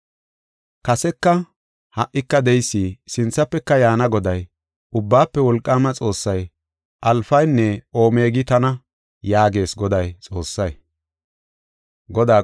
“Kaseka, ha77ika de7eysi, sinthafeka yaana Goday, Ubbaafe Wolqaama Xoossay, Alfanne Omegi tana” yaagees Godaa Xoossay.